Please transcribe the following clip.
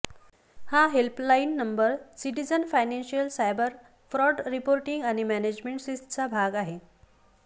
हा helpline number citizen financial cyber fraud reporting आणि management सिस्टचा भाग आहे